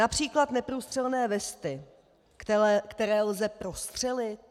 Například neprůstřelné vesty, které lze prostřelit?